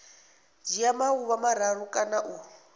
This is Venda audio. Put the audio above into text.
dzhia maḓuvha mararu kana u